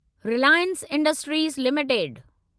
Reliance Industries limited